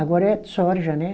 Agora é soja, né?